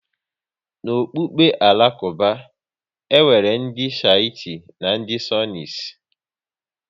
N'ọkpụkpụ Alakuba, e nwere ndị Shites na ndị Sunnis